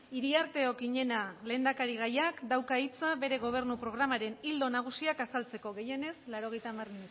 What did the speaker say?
iriarte okiñena lehendakarigaiak dauka hitza bere gobernu programaren ildo nagusiak azaltzeko gehienez laurogeita hamar